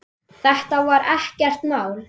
Þetta verði ekkert mál.